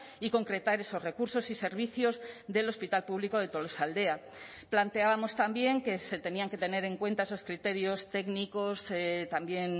y concretar esos recursos y servicios del hospital público de tolosaldea planteábamos también que se tenían que tener en cuenta esos criterios técnicos también